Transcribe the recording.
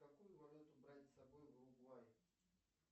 какую валюту брать с собой в уругвай